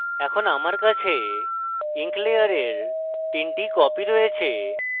এখন আমার কাছে ink layer 3 টি copies রয়েছে